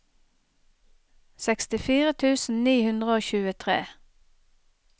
sekstifire tusen ni hundre og tjuetre